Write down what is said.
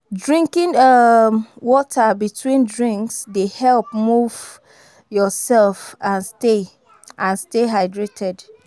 Drinking um water between drinks dey help move yourself and stay and stay hydrated.